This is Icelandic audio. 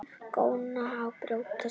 Góna á brjóst mín.